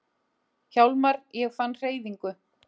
Hjálmar, ég fann hreyfingu!